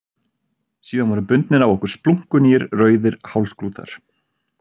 Síðan voru bundnir á okkur splunkunýir rauðir hálsklútar.